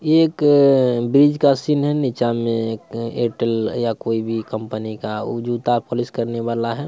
यह एक ब्रिज का सीन है। नीचा मा एक एयरटेल या कोई भी कंपनी का वो जूता पोलीस करने वाला है।